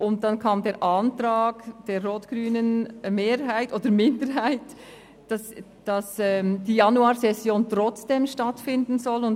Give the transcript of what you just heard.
Darauf folgte der Antrag der rot-grünen Minderheit, die Januarsession trotzdem stattfinden zu lassen.